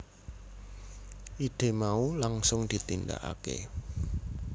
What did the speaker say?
Ide mau langsung ditindakake